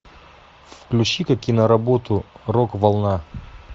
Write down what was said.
включи ка киноработу рок волна